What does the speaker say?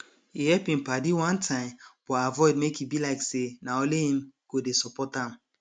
he help him padi one time but avoid make e be like say na only him go dey support am